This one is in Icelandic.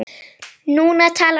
Núna talar hún.